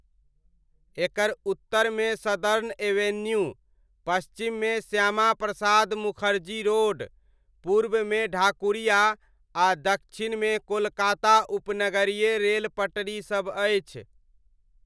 एकर उत्तरमे Southern Avenue, पश्चिममे Shyama Prasad Mukherjee road, पूर्वमे ढाकुरिया आ दक्षिणमे कोलकाता उपनगरीय रेल पटरीसब अछि।